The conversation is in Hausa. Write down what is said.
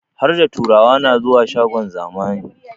Harda turawa na zuwa shagon zamani